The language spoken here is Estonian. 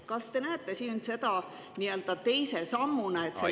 Kas te näete seda nii-öelda teise sammuna?